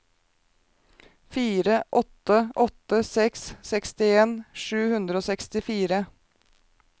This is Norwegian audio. fire åtte åtte seks sekstien sju hundre og sekstifire